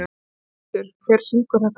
Eymundur, hver syngur þetta lag?